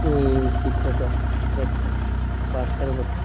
এ এই চিত্রটো একটা পার্ক এর বটে।